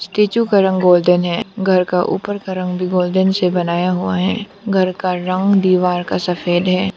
Statue का रंग golden है। घर का ऊपर का रंग भी गोल्डेन से बनाया हुआ है। घर का रंग दीवार का सफेद है।